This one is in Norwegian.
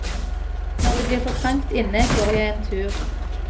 Når det blir for trangt inne, går jeg en tur.